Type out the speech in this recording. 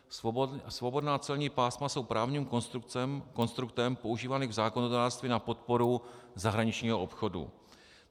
Svobodná celní pásma jsou právním konstruktem používaným v zákonodárství na podporu zahraničního obchodu.